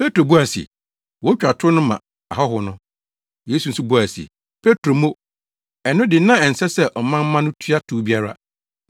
Petro buaa se, “Wotwa tow no ma ahɔho no.” Yesu nso buae se, “Petro mo! Ɛno de na ɛnsɛ sɛ ɔman mma no tua tow biara.